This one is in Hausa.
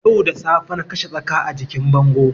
Yau da safe na kashe tsaka a jikin bango